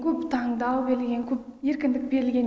көп таңдау берілген көп еркіндік берілген